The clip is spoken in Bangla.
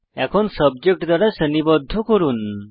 এখন সাবজেক্ট দ্বারা শ্রেণীবদ্ধ করুন